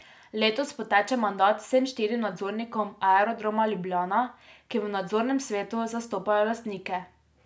Letos poteče mandat vsem štirim nadzornikom Aerodroma Ljubljana, ki v nadzornem svetu zastopajo lastnike.